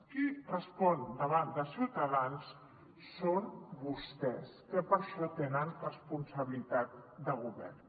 qui respon davant de ciutadans són vostès que per això tenen responsabilitat de govern